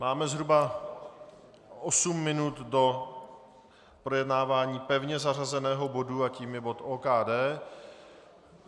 Máme zhruba osm minut do projednávání pevně zařazeného bodu a tím je bod OKD.